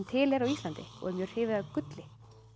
til er á Íslandi og er mjög hrifið af gulli